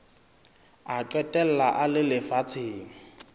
a qetella a le lefatsheng